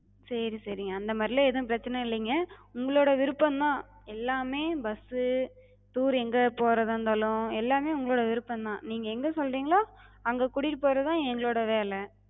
சேரி சேரி, அந்த மாரிலா எது பிரச்சன இல்லைங்க. உங்களோட விருப்பந்தா எல்லாமே bus, tour எங்க போறதா இருந்தாலு எல்லாமே உங்களோட விருப்பந்தா. நீங்க எங்க சொல்றிங்களோ அங்க கூட்டிட்டுப் போறதுதா எங்களோட வேல.